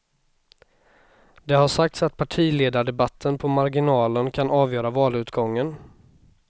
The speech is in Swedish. Det har sagts att partiledardebatten på marginalen kan avgöra valutgången.